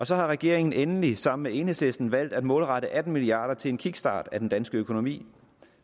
så har regeringen endelig sammen med enhedslisten valgt at målrette atten milliard kroner til en kickstart af den danske økonomi